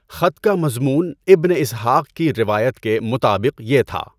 خط کا مضمون ابن اسحٰق کی روایت کے مطابق یہ تھا۔